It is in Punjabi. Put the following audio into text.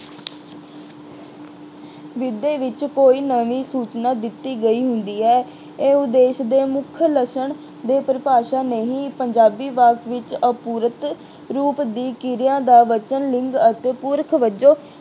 ਵਿੱਦਿਆ ਵਿੱਚ ਕੋਈ ਨਵੀਂ ਸੂਚਨਾ ਦਿੱਤੀ ਗਈ ਹੁੰਦੀ ਹੈ। ਇਹ ਉੱਦੇਸ਼ ਦੇ ਮੁੱਖ ਲੱਛਣ ਦੀ ਪਰਿਭਾਸ਼ਾ ਨਹੀਂ, ਪੰਜਾਬੀ ਵਾਕ ਵਿੱਚ ਅਪੂਰਤ ਰੂਪ ਦੀ ਕਿਰਿਆ ਦਾ ਵਚਨ ਲਿੰਗ ਅਤੇ ਪੁਰਖ ਵਜੋਂ